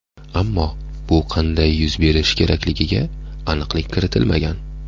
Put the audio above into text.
Ammo bu qanday yuz berishi kerakligiga aniqlik kiritilmagan.